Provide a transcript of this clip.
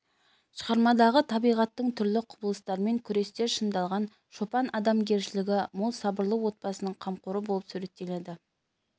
шығармадағы табиғаттың түрлі құбылыстарымен күресте шындалған шопан адамгершілігі мол сабырлы отбасының қамқоры болып суреттеледі